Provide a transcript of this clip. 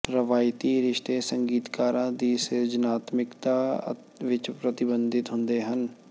ਰਵਾਇਤੀ ਰਿਸ਼ਤੇ ਸੰਗੀਤਕਾਰਾਂ ਦੀ ਸਿਰਜਣਾਤਮਿਕਤਾ ਵਿੱਚ ਪ੍ਰਤੀਬਿੰਬਤ ਹੁੰਦੇ ਹਨ